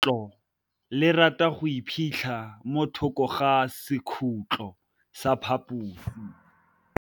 Legôtlô le rata go iphitlha mo thokô ga sekhutlo sa phaposi.